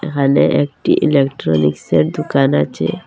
এখানে একটি ইলেকট্রনিক্সের দুকান আচে।